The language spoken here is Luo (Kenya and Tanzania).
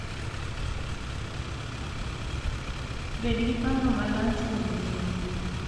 Bed gi paro malach kuom ngima,